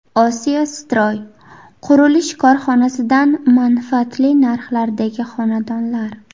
Osiyo Stroy qurilish korxonasidan manfaatli narxdagi xonadonlar.